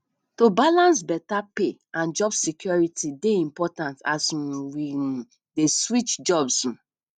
you fit talk about wetin you go like create or produce today